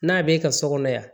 N'a bɛ ka so kɔnɔ yan